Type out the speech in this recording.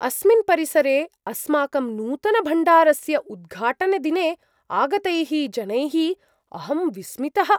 अस्मिन् परिसरे अस्माकं नूतनभण्डारस्य उद्घाटनदिने आगतैः जनैः अहं विस्मितः।